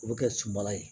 U bɛ kɛ sunbala ye